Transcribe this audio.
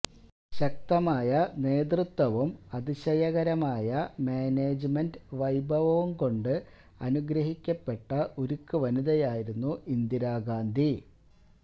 ശക്തമായ നേതൃത്വവും അതിശയകരമായ മാനേജ്മെന്റ് വൈഭവവും കൊണ്ട് അനുഗ്രഹിക്കപ്പെട്ട ഉരുക്ക് വനിതയായിരുന്നു ഇന്ദിര ഗാന്ധി